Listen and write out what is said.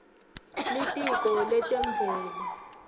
litiko letemvelo